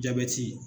Jabɛti